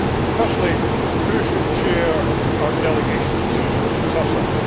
Firstly, who should chair our delegation to COSAC?